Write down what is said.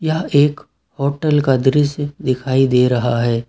यह एक होटल का दृश्य दिखाई दे रहा है।